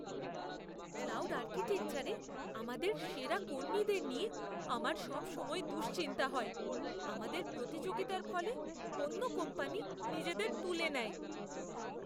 Cloud আর্কিটেকচারে আমাদের সেরা কর্মীদের নিয়ে আমার সবসময় দুশ্চিন্তা হয়। আমাদের প্রতিযোগিতার ফলে অন্য কোম্পানি নিজেদের তুলে নেয়।